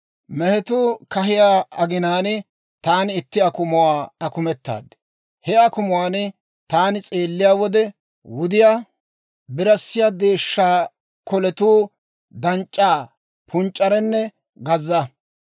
«Mehetuu kahiyaa aginaan, taani itti akumuwaa akumetaad; he akumuwaan taani s'eelliyaa wode, wudiyaa birassiyaa deeshsha koletuu danc'c'aa, punc'c'arenne gazza.